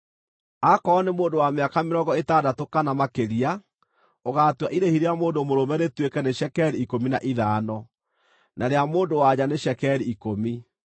Aakorwo nĩ mũndũ wa mĩaka mĩrongo ĩtandatũ kana makĩrĩa, ũgaatua irĩhi rĩa mũndũ mũrũme rĩtuĩke nĩ cekeri ikũmi na ithano, na rĩa mũndũ-wa-nja nĩ cekeri ikũmi.